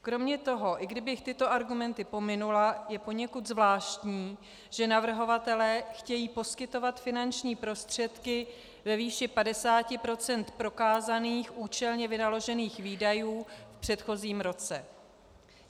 Kromě toho i kdybych tyto argumenty pominula, je poněkud zvláštní, že navrhovatelé chtějí poskytovat finanční prostředky ve výši 50 % prokázaných účelně vynaložených výdajů v předchozím roce.